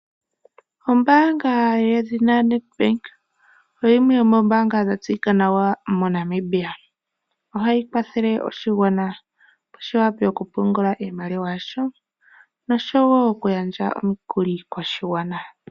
Ombaanga yo NET Bank oyo yimwe yomoombaanga dha tseyika nawa moNamibia. Ohayi kwathele oshigwana opo shi vule oku pungula iimaliwa yasho nosho woo oku gandja omukuli koshigwana.